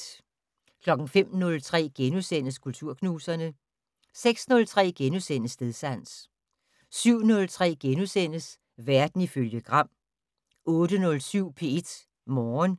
05:03: Kulturknuserne * 06:03: Stedsans * 07:03: Verden ifølge Gram * 08:07: P1 Morgen